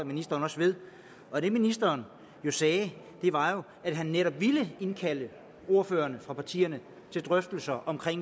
ministeren også ved og det ministeren sagde var at han netop ville indkalde ordførerne for partierne til drøftelser om